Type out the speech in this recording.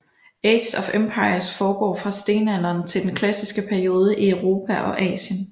Age of Empires foregår fra stenalderen til den klassiske periode i Europa og Asien